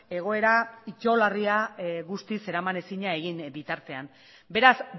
egoera itogarria guztiz eramanezina egin bitartean beraz